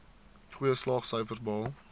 goeie slaagsyfers behaal